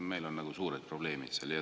Meil on seal suured probleemid.